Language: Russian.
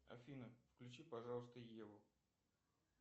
афина включи пожалуйста еву